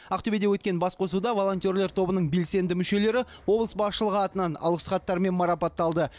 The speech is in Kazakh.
ақтөбеде өткен басқосуда волонтерлер тобының белсенді мүшелері облыс басшылығы атынан алғыс хаттармен марапатталды